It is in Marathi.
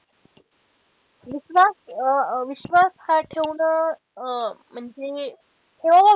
विश्वास अह विश्वास हा ठेवणं अह म्हणजे तेवढा,